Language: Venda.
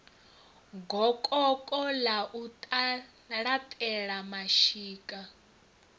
gokoko ḽa u laṱela mashika